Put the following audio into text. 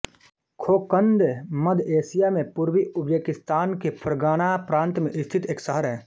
Kokand मध्य Asia में पूर्वी उज़्बेकिस्तान के फ़रग़ना प्रान्त में स्थित एक शहर है